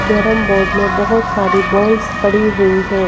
carrom board में बहुत सारी बॉल्स पड़ी हुई हैं--